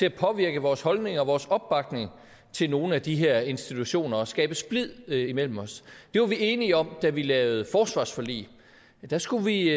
at påvirke vores holdninger og vores opbakning til nogle af de her institutioner og skaber splid imellem os det var vi enige om da vi lavede forsvarsforlig der skulle vi